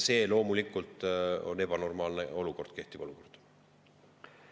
Seega, loomulikult on kehtiv olukord ebanormaalne.